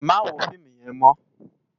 Má wó fiimú yèn mò